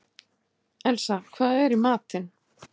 Elsa, hvað er í matinn?